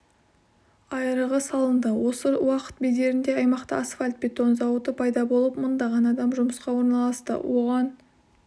айырығы салынды осы уақыт бедерінде аймақта асфальт-бетон зауыты пайда болып мыңдаған адам жұмысқа орналасты оған